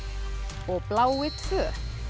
og blái tvö